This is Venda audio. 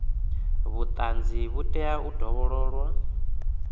vhuṱanzi vhu tea u dovhololwa